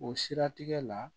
O siratigɛ la